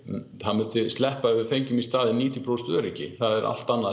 það myndi sleppa ef við fengjum í staðinn níutíu prósent öryggi það er allt annað